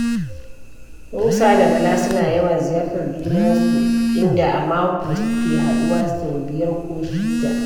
Musa da Bala suna yawan ziyartar junansu, inda a mako suke haɗuwa sau biyar ko shida.